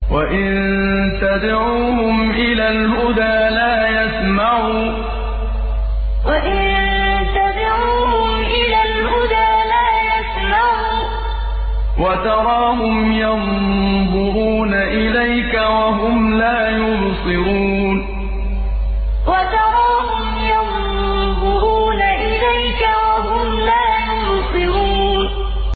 وَإِن تَدْعُوهُمْ إِلَى الْهُدَىٰ لَا يَسْمَعُوا ۖ وَتَرَاهُمْ يَنظُرُونَ إِلَيْكَ وَهُمْ لَا يُبْصِرُونَ وَإِن تَدْعُوهُمْ إِلَى الْهُدَىٰ لَا يَسْمَعُوا ۖ وَتَرَاهُمْ يَنظُرُونَ إِلَيْكَ وَهُمْ لَا يُبْصِرُونَ